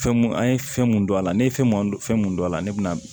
Fɛn mun an ye fɛn mun don a la ne ye fɛn mun fɛn mun don a la ne bɛna